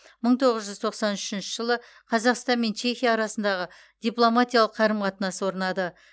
мың тоғыз жүз тоқсан үшінші жылы қазақстан мен чехия арасындағы дипломатиялық қарым қатынас орнады